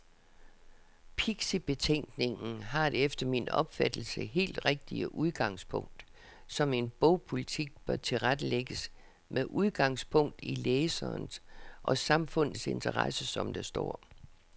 Pixibetænkningen har det efter min opfattelse helt rigtige udgangspunkt, at en bogpolitik bør tilrettelægges med udgangspunkt i læserens og samfundets interesser, som der står.